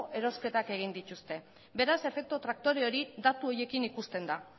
erosketak egin dituzte beraz efektu traktore hori datu horiekin ikusten da